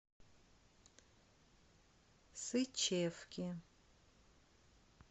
сычевки